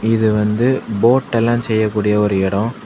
இது வந்து போட்டெல்லாம் செய்யக்கூடிய ஒரு எடோ.